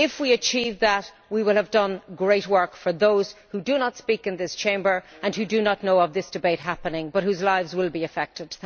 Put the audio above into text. If we achieve that, we will have done great work for those who do not speak in this Chamber and who do not know of this debate happening, but whose lives will be affected.